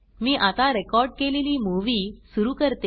मी आता रेकॉर्ड केलेली मुव्ही सुरू करते